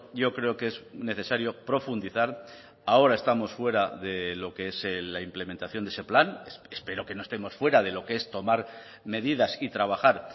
yo creo que es necesario profundizar ahora estamos fuera de lo que es la implementación de ese plan espero que no estemos fuera de lo que es tomar medidas y trabajar